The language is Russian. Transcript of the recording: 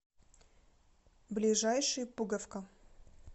ближайший пуговка